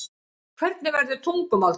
hvernig verður tungumál til